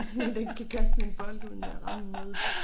Sådan en der ikke kan kaste med en bold uden at ramme noget